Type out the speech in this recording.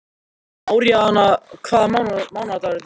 Aríaðna, hvaða mánaðardagur er í dag?